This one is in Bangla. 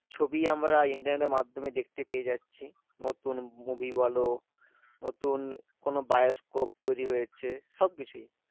ছবি আমরা internet এর মাধ্যমে দেখতে পেয়ে যাচ্ছি নতুন movie বলো নতুন কোনো বায়োস্কোপ তৈরী হয়েছে সবকিছুই